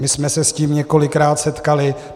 My jsme se s tím několikrát setkali.